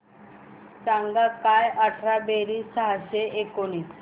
सांग काय अठरा बेरीज सहाशे एकोणीस